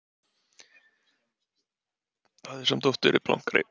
Hafði samt oft verið blankari.